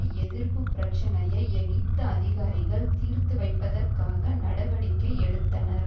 எதிர்ப்பு பிரச்சினையை எகிப்து அதிகாரிகள் தீர்த்து வைப்பதற்காக நடவடிக்கை எடுத்தனர்